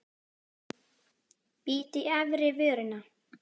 Bít í efri vörina.